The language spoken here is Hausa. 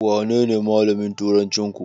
Wanene malamin turancinku?